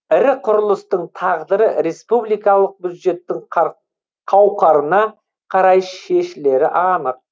ірі құрылыстың тағдыры республикалық бюджеттің қауқарына қарай шешілері анық